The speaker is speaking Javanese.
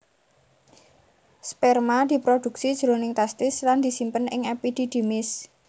Sperma diprodhuksi jroning testis lan disimpen ing epididymis